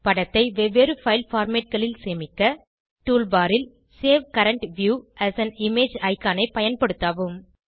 படத்தை வெவ்வேறு பைல் formatகளில் சேமிக்க டூல் பார் ல் save current view as an image ஐகானை பயன்படுத்தவும்